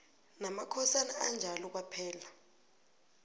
namakhosana anjalo kwaphela